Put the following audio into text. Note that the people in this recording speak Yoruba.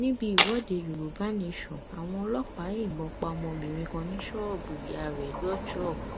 níbi ìwọde yorùbá nation àwọn ọlọpàá yìnbọn pa ọmọbìnrin kan ní ṣọọbù ìyá rẹ lọjọ